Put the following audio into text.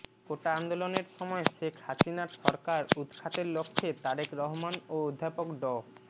কোটা আন্দোলনের সময় শেখ হাসিনার সরকার উৎখাতের লক্ষ্যে তারেক রহমান ও অধ্যাপক ড